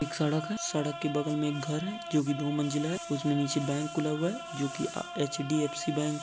सड़क है सड़क के बगल मैं एक घर है जो की दो मंजिल है उसमे नीचे बैंक खुला हुआ है जो की एच.डी.एफ़.सी. बैंक है।